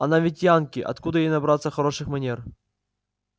она ведь янки откуда ей набраться хороших манер